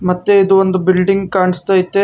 ಮತ್ತೆ ಇದು ಒಂದು ಬಿಲ್ಡಿಂಗ್ ಕಾಣಿಸ್ ತೈತೆ.